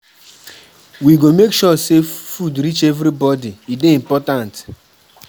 We go make sure sey food reach everybodi, e dey important.